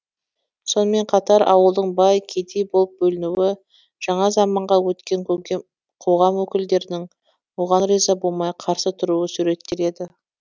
сонымен қатар ауылдың бай кедей болып бөлінуі жаңа заманға өткен қоғам өкілдерінің оған риза болмай қарсы тұруы суреттеледі